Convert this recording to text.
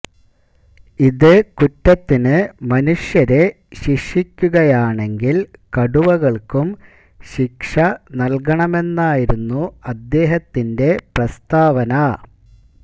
ഇതേ കുറ്റത്തിന് മനുഷ്യരെ ശിക്ഷിക്കുകയാണെങ്കില് കടുവകള്ക്കും ശിക്ഷ നല്കണമെന്നായിരുന്നു അദ്ദേഹത്തിന്റെ പ്രസ്താവന